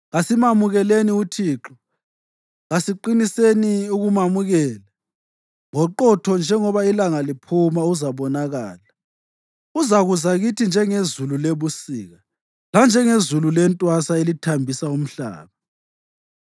Kasimamukeleni uThixo; kasiqiniseni ukumamukela. Ngoqotho njengoba ilanga liphuma, uzabonakala; uzakuza kithi njengezulu lebusika, lanjengezulu lentwasa elithambisa umhlaba.”